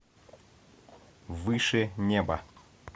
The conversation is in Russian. выше неба